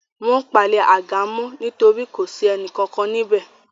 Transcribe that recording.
Wọ́n palẹ̀ àga mọ́ nítorí kò sí ẹnì kankan níbẹ̀